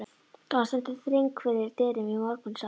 Þar varð stundum þröng fyrir dyrum í morgunsárið.